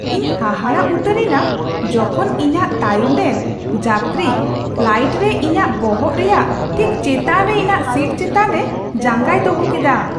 ᱤᱧ ᱦᱟᱦᱟᱲᱟᱜ ᱩᱛᱟᱹᱨ ᱮᱱᱟ ᱡᱚᱠᱷᱚᱱ ᱤᱧᱟᱹᱜ ᱛᱟᱭᱚᱢ ᱨᱮᱱ ᱡᱟᱛᱨᱤ ᱯᱷᱞᱟᱭᱤᱴ ᱨᱮ ᱤᱧᱟᱹᱜ ᱵᱚᱦᱚᱜ ᱨᱮᱭᱟᱜ ᱴᱷᱤᱠ ᱪᱮᱛᱟᱱ ᱨᱮ ᱤᱧᱟᱹᱜ ᱥᱤᱴ ᱪᱮᱛᱟᱱ ᱨᱮ ᱡᱟᱸᱜᱟᱭ ᱫᱚᱦᱚ ᱠᱮᱫᱟ !